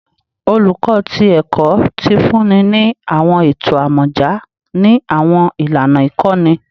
Oluko ti Ẹkọ ti funni ni awọn eto amọja ni awọn ilana ikọni